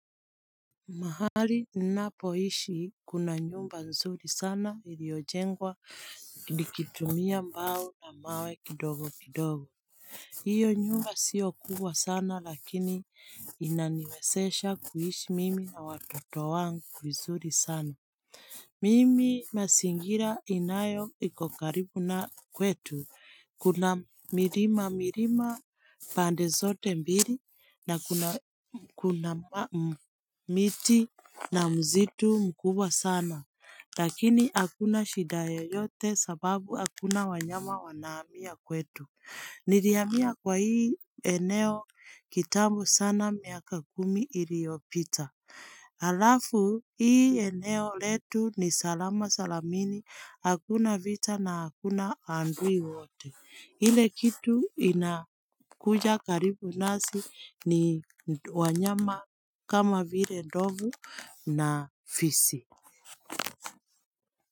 Mahali inapoishi kuna nyumba nzuri sana iliojengwa likitumia mbao namawe kidogo kidogo hiyo nyumba siokuwa sana lakini inaniwesesha kuhishi mimi na watoto wangu nzuri sana Mimi masingira inayo ikokaribu na kwetu. Kuna mirima mirima pande zote mbili na kuna miti na mzitu mkubwa sana. Lakini hakuna shidayo yote sababu akuna wanyama wanaamia kwetu. Nidiamia kwa hii eneo kitabu sana miaka kumi iliopita. Alafu hii eneo letu ni salama salamini, hakuna vita na hakuna andui wote. Hile kitu inakuja karibu nasi ni wanyama kama vile ndovu na fisi.